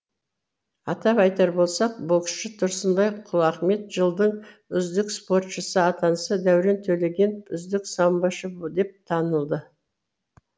атап айтар болсақ боксшы тұрсынбай құлахмет жылдың үздік спортшысы атанса дәурен төлегенов үздік самбошы деп танылды